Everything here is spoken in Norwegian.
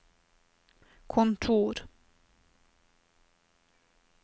kontor